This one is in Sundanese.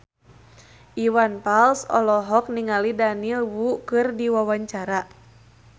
Iwan Fals olohok ningali Daniel Wu keur diwawancara